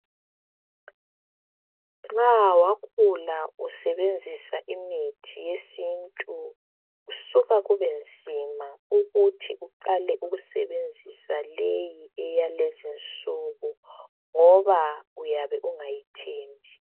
Nxa wakhula usebenzisa imithi yesintu kusuka kubenzima ukuthi uqale ukusebenzisa leyi eyalezinsuku ngoba uyabe ungayithembi